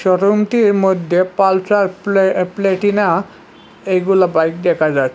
শোরুমটির মধ্যে পালট্রা প্লে প্ল্যাটিনা এইগুলা বাইক দেখা যায়।